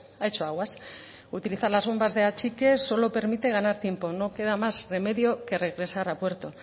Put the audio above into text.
ha hecho aguas utilizar las bombas de achique solo permite ganar tiempo no queda más remedio que regresar a puerto